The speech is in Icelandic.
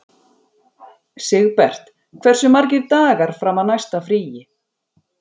Sigbert, hversu margir dagar fram að næsta fríi?